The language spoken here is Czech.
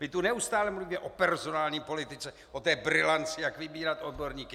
My tu neustále mluvíme o personální politice, o té brilanci, jak vybírat odborníky.